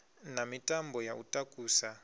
na mitambo ya u takusa